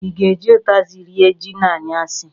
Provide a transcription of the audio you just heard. Ị ga-eji ụtazi rie ji n'anyasị?